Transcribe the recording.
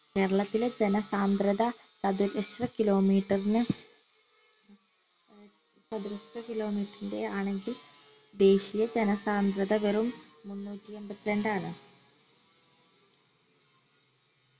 കേരളത്തിലെ ജനസാന്ദ്രത ചതുരശ്ര kilo meter നെ ചതുരശ്ര kilo meter ൻറെ ആണെങ്കിൽ ദേശീയ ജനസാന്ദ്രത വെറും മുന്നൂറ്റി എൺപത്രണ്ടാണ്